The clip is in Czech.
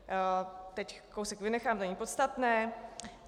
Teď kousek vynechám, to není podstatné.